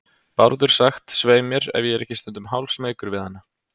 Bárður sagt, svei mér, ef ég er ekki stundum hálfsmeykur við hana.